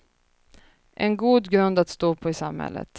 En god grund att stå på i samhället.